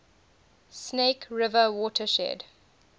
snake river watershed